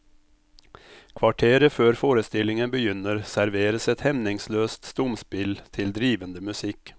Kvarteret før forestillingen begynner serveres et hemningsløst stumspill til drivende musikk.